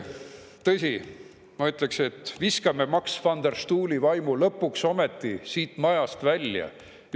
Tõsi, ma ütleksin, et viskame Max van der Stoeli vaimu lõpuks ometi siit majast välja.